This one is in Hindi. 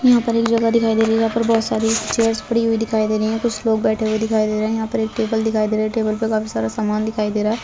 यहाँ पर एक जगह दिखाई दे रही है जहाँ पर बहोत सारी चेयर्स पड़ी हुई दिखाई दे रही है कुछ लोग बैठे हुए दिखाई दे रहे है यहाँ पर एक टेबल दिखाई दे रहा है टेबल पे काफ़ी सारा सामान दिखाई दे रहा।